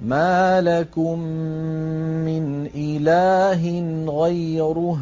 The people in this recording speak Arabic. مَا لَكُم مِّنْ إِلَٰهٍ غَيْرُهُ ۖ